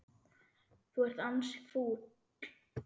Þú ert ansi fúll.